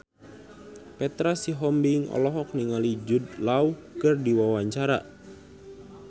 Petra Sihombing olohok ningali Jude Law keur diwawancara